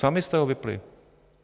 Sami jste ho vypnuli.